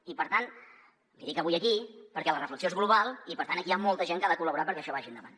i per tant l’hi dic avui aquí perquè la reflexió és global i per tant aquí hi ha molta gent que ha de col·laborar perquè això vagi endavant